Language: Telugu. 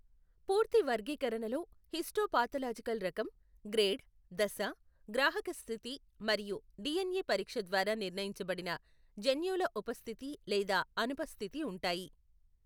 పూర్తి వర్గీకరణలో హిస్టోపాథలాజికల్ రకం, గ్రేడ్, దశ, గ్రాహక స్థితి మరియు డిఎన్ఏ పరీక్ష ద్వారా నిర్ణయించబడిన జన్యువుల ఉపస్థితి లేదా అనుపస్థితి ఉంటాయి.